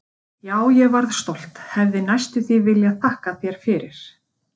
Já, ég varð stolt, hefði næstum því viljað þakka þér fyrir.